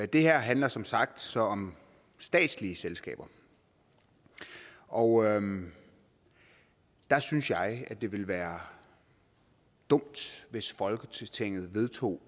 det her handler som sagt så om statslige selskaber og der synes jeg det ville være dumt hvis folketinget vedtog